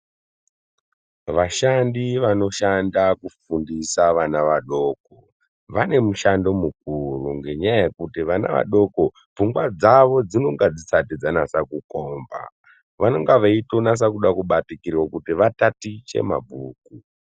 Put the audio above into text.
Vashandi, vanoshanda kufundisa vana vadoko, vanemushando mukuru ngenyaya yekuti vana vadoko pfungwa dzavo dzinonga dzisati dzanase kukomba vanonga veitoda kunasa kubatikirwa kuti vatatiche mabhuku.